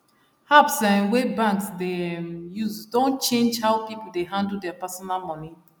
apps um wey banks dey um use don change how people dey handle their personal money